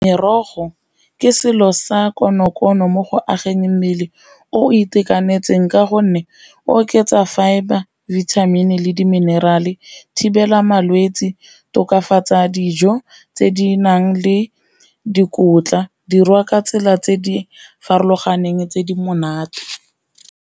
Merogo ke selo sa konokono mo go ageng mmele o itekanetseng ka gonne oketsa fibre, bithamini le diminerale, thibela malwetse, tokafatsa dijo tse di nang le dikotla, dirwa ka tsela tse di farologaneng tse di monate.